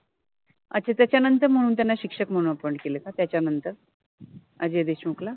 अच्छा, त्याच्यानंतर मनुन त्याना शिक्षक मनुन अपॉइंट {appoint} केल का त्याच्यानंतर अजय देशमुख ला